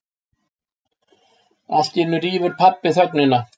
Alltíeinu rýfur pabbi þögnina.